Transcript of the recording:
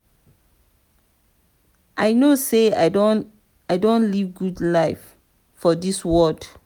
i no say i don live good life for dis world.